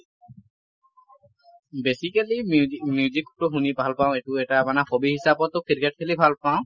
basically music music টো শুনি ভাল পাওঁ এইটো এটা মানে hobby হিচাবটো ক্ৰিকেট খেলি ভাল পাওঁ।